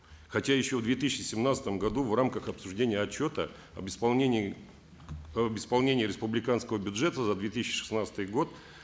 хотя еще в две тысячи семнадцатом году в рамках обсуждения отчета об исполнении об исполнении республиканского бюджета за две тысячи шестнадцатый год